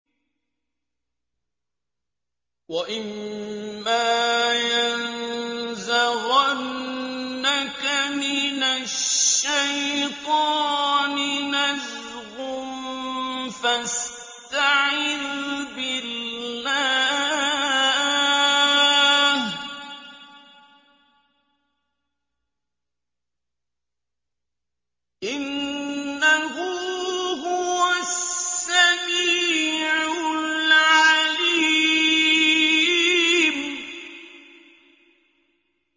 وَإِمَّا يَنزَغَنَّكَ مِنَ الشَّيْطَانِ نَزْغٌ فَاسْتَعِذْ بِاللَّهِ ۖ إِنَّهُ هُوَ السَّمِيعُ الْعَلِيمُ